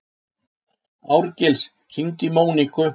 Árgils, hringdu í Móníku.